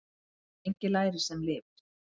Svo lengi lærir sem lifir.